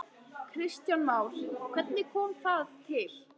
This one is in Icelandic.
Kristján Már: Hvernig kom það til?